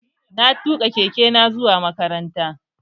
Na tuƙa keke na zuwa makaranta